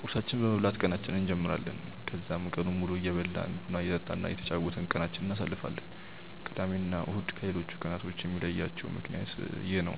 ቁርሳችንን በመብላት ቀናችንን እንጀምራለን። ከዛም ቀኑን ሙሉ እየበላን፣ ቡና እየጠጣን እና እየተጫወትን ቀናችንን እናሳልፋለን። ቅዳሜ እና እሁድን ከሌሎቹ ቀናቶች የሚለያቸው ምክንያት ይህ ነው።